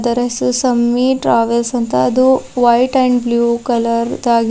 race ಸಮಿಟ ರಾವೆಸ್ ಅಂತ ಅದು ವೈಟ್ ಅಂಡ್ ಬ್ಲೂ ಕಲರ್ ದಾಗ --